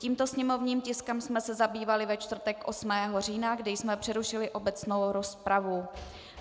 Tímto sněmovním tiskem jsme se zabývali ve čtvrtek 8. října, kdy jsme přerušili obecnou rozpravu.